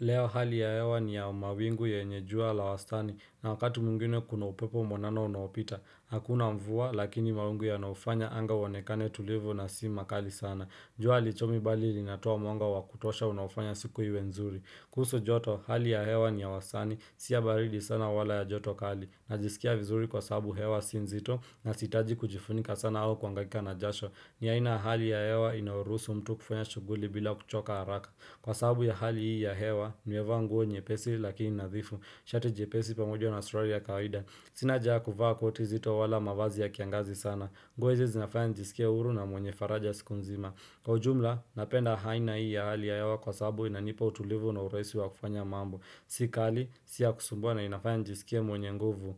Leo hali ya hewa ni ya mawingu yenye jua la wastani na wakatu mwingine kuna upepo mwanana unaopita Hakuna mvua lakini mawingu yanaufanya anga ionekane tulivu na si makali sana jua halichomi bali linatoa mwanga wakutosha unaofanya siku iwe nzuri kuhusu joto hali ya hewa ni ya wastani si ya baridi sana wala ya joto kali Najisikia vizuri kwa sabu hewa si nzito na sitaki kujifunika sana au kuhangaika na jasho ni aina ya hali ya hewa inayoruhusu mtu kufanya shughuli bila kuchoka haraka Kwa sababu ya hali hii ya hewa, nimevaa nguo nyepesi lakini nadhifu Shati jepesi pamoja na suruali ya kawaida Sina haja ya kuvaa koti nzito wala mavazi ya kiangazi sana nguo hizi zinafanya nijisikia huru na mwenye faraja siku nzima Kwa ujumla, napenda aina hii ya hali ya hewa kwa sababu inanipa utulivu na urahisi wa kufanya mambo Sikali, si ya kusumbwa na inafanya nijisikie mwenye nguvu